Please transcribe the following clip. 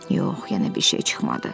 Yox, yenə bir şey çıxmadı.